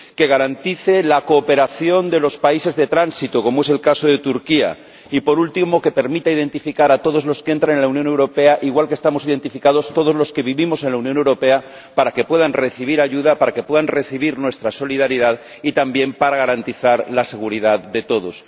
que garantice la cooperación de los países de tránsito, como es el caso de Turquía y, por último, que permita identificar a todos los que entran en la Unión Europea —igual que estamos identificados todos los que vivimos en la Unión Europea—, para que puedan recibir ayuda, para que puedan contar con nuestra solidaridad y también para garantizar la seguridad de todos.